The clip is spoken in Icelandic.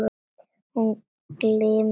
Hún glymur þér.